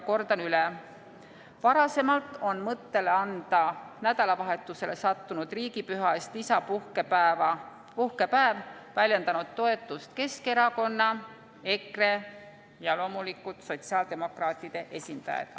Kordan üle: varasemalt on mõttele anda nädalavahetusele sattunud riigipüha eest lisapuhkepäev väljendanud toetust Keskerakonna, EKRE ja loomulikult sotsiaaldemokraatide esindajad.